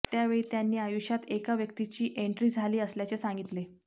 त्यावेळी त्यांनी आयुष्यात एका व्यक्तीची एण्ट्री झाली असल्याचे सांगितले